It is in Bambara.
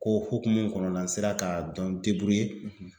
Ko hokumu kɔnɔna na n sera ka n